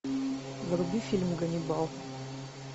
вруби фильм ганнибал